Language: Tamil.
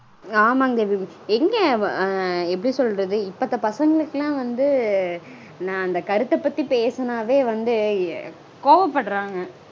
ஆமாங்க தேவி. எங்க எப்படி சொல்ரது. இப்பத்த பசங்களுக்கெல்லாம் வந்து நா அந்த கருத்த பக்த்தி பேசனாவே வந்து கோவப்படறாங்க.